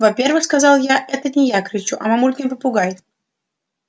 во-первых сказала я это не я кричу а мамулькин попугай